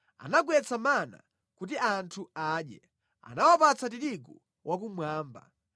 anagwetsa mana kuti anthu adye, anawapatsa tirigu wakumwamba.